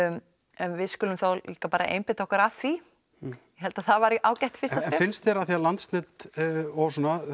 en við skulum bara einbeita okkur þá að því ég held að það væri ágætt fyrsta finnst þér af því að Landsnet og